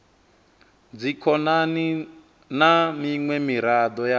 dzikhonani na miṅwe miraḓo ya